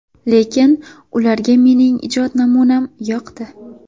Lekin ularga mening ijod namunam yoqdi.